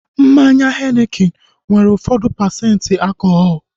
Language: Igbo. Mmanya henikin nwere ụfọdụ pasenti alkọhọl